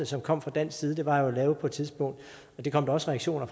som kom fra dansk side var jo på et tidspunkt det kom der også reaktioner